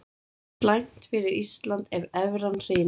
Slæmt fyrir Ísland ef evran hrynur